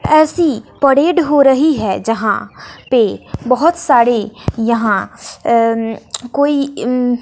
ऐसी परेड हो रही है जहां पे बहोत सारे यहां अं कोई अं--